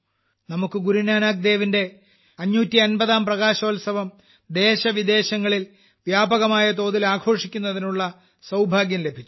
നമുക്ക് ഗുരു നാനാക്ക് ദേവിന്റെ 550ാം പ്രകാശോൽസവം ദേശവിദേശങ്ങളിൽ വ്യാപകമായ തോതിൽ ആഘോഷിക്കുന്നതിനുള്ള സൌഭാഗ്യം ലഭിച്ചു